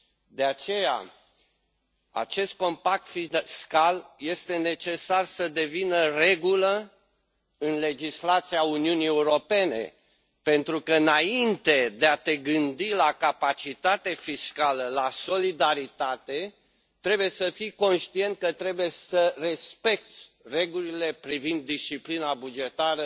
De aceea, este necesar ca acest compact fiscal să devină regulă în legislația Uniunii Europene, pentru că, înainte de a te gândi la capacitate fiscală, la solidaritate, trebuie să fii conștient că trebuie să respecți regulile privind disciplina bugetară,